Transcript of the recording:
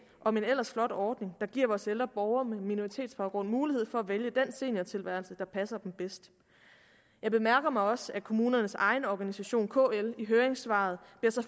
om en ellers flot ordning der giver vores ældre borgere med minoritetsbaggrund mulighed for at vælge den seniortilværelse der passer dem bedst jeg bemærker mig også at kommunernes egen organisation kl i høringssvaret